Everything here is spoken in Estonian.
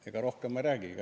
Ega rohkem ma ei räägigi.